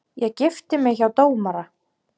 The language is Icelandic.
Ég gifti mig hjá dómara.